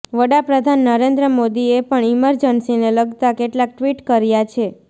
વડાપ્રધાન નરેન્દ્ર મોદીએ પણ ઈમરજન્સીને લગતા કેટલાક ટ્વિટ કર્યા છે